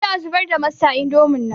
Aje a zubar da masta indomin nan